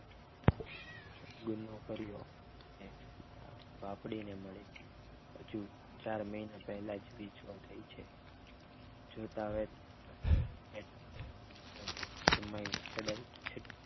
ગુના કર્યો એ મારી બાપડીને મળે હજુ ચાર મહિના પહેલાં જ વિધવા થઈ છે જોતાં વેધ જમાઈ છળે છળ